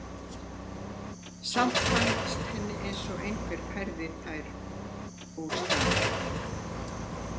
Samt fannst henni eins og einhver hefði fært það úr stað.